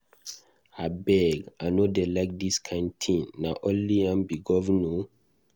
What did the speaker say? Abeg I no dey like dis kin thing, na only am be governor?